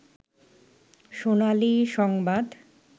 সোনালী সংবাদ